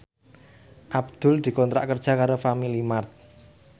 Abdul dikontrak kerja karo Family Mart